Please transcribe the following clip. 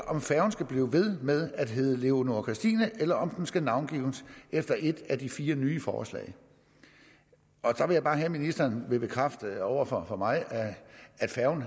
om færgen skal blive ved med at hedde leonora christina eller om den skal navngives efter et af de fire nye forslag der vil jeg bare have at ministeren bekræfter over for mig at færgen